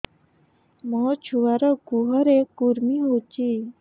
ମୋ ଛୁଆର୍ ଗୁହରେ କୁର୍ମି ହଉଚି